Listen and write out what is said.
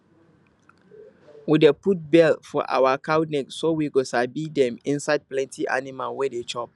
we dey put bell for our cow neck so we go sabi dem inside plenty animal wey dey chop